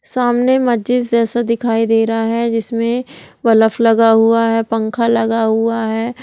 सामने मस्जिद जैसा दिखाई दे रहा है। जिसमे बलफ लगा हुआ है पंखा लगा हुआ है।